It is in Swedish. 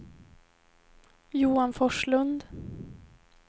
Johan Forslund